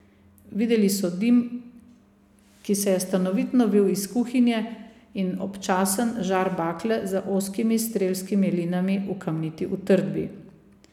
Videli so dim, ki se je stanovitno vil iz kuhinje, in občasen žar bakle za ozkimi strelskimi linami v kamniti utrdbi.